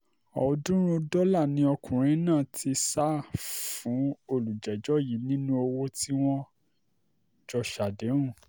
ọ̀ọ́dúnrún dọ́là ni ọkùnrin náà ti sá fún olùjẹ́jọ́ yìí nínú owó tí wọ́n jọ ṣàdéhùn